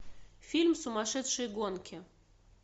фильм сумасшедшие гонки